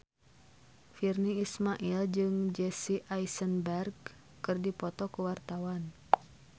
Virnie Ismail jeung Jesse Eisenberg keur dipoto ku wartawan